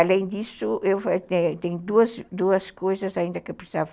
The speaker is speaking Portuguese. Além disso, tem duas duas coisas ainda que eu precisava.